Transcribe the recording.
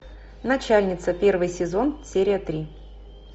начальница первый сезон серия три